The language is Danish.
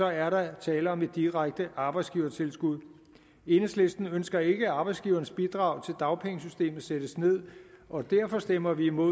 er der tale om et direkte arbejdsgivertilskud enhedslisten ønsker ikke at arbejdsgivernes bidrag til dagpengesystemet sættes ned og derfor stemmer vi imod